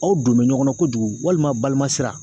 k'o don ɲɔgɔn na kojugu walima balimasira